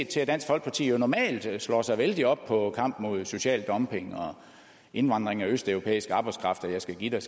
til at dansk folkeparti jo normalt slår sig vældigt op på kampen mod social dumping og indvandring af østeuropæisk arbejdskraft og jeg skal give dig